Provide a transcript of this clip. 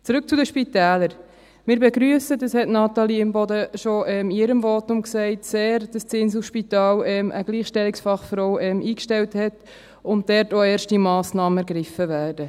Zurück zu den Spitälern: Wir begrüssen sehr – dies hat Natalie Imboden in ihrem Votum schon erwähnt –, dass das Inselspital eine Gleichstellungsfachfrau eingestellt hat und dort auch erste Massnahmen ergriffen werden.